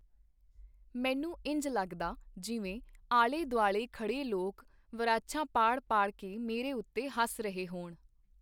ਮੈਨੂੰ ਇੰਜ ਲੱਗਦਾ, ਜਿਵੇਂ ਆਲੇ-ਦੁਆਲੇ ਖੜੇ ਲੋਕ ਵਰਾਛਾਂ ਪਾੜ ਪਾੜ ਕੇ ਮੇਰੇ ਉਤੇ ਹੱਸ ਰਹੇ ਹੋਣ.